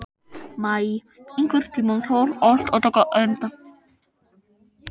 Maj, einhvern tímann þarf allt að taka enda.